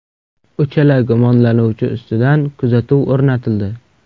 Uchala gumonlanuvchi ustidan kuzatuv o‘rnatildi.